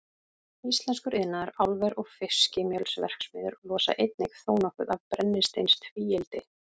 Íslenskur iðnaður, álver og fiskimjölsverksmiðjur losa einnig þónokkuð af brennisteinstvíildi.